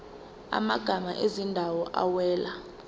amagama ezindawo awela